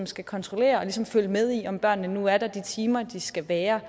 skal kontrollere og følge med i om børnene nu er der i de timer de skal være